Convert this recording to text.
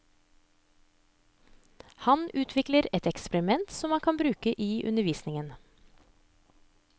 Han utvikler et eksperiment som man kan bruke i undervisningen.